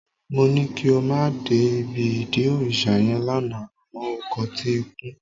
Mó ní kí o má dé ibi ìdí òrìṣà yẹn lánàá àmọ́ o kọtí ikún